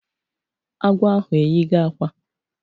Agwọ ahụ eyigo akwa